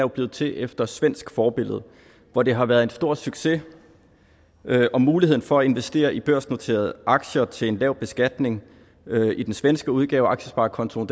blevet til efter svensk forbillede hvor det har været en stor succes muligheden for at investere i børsnoterede aktier til en lav beskatning i den svenske udgave af aktiesparekontoen